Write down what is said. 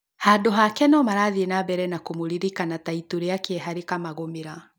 Handũ hake nomarathiĩ na mbere na kũmũririkana na itu rĩa kĩeha rĩkamagũmĩra